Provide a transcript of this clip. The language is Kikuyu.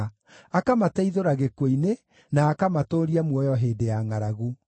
akamateithũra gĩkuũ-inĩ, na akamatũũria muoyo hĩndĩ ya ngʼaragu.